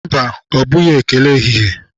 Mba, ọ bụghị ekele ehihie